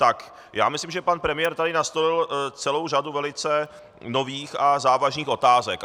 Tak já myslím, že pan premiér tady nastolil celou řadu velice nových a závažných otázek.